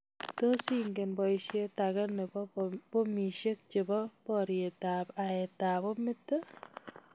Tos ingen boishet ake nebo bomishek chebo boriet ak aet ab bomit.